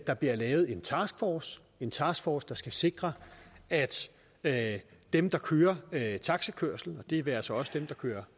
der bliver lavet en taskforce en taskforce som skal sikre at at dem der kører taxakørsel det være sig også dem der kører